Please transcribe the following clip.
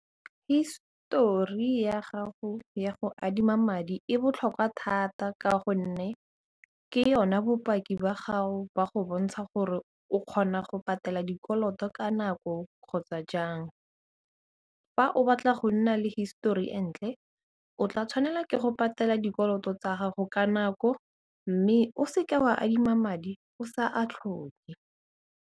Histori ya gago ya go adima madi e botlhokwa thata ka gonne ke yona bopaki ba gago ba go bontsha gore o kgona go patela dikoloto ka nako kgotsa jang, fa o batla go nna le histori e ntle o tla tshwanela ke go patela dikoloto tsa gago ka nako mme o seka wa adima madi o sa a tlhoke.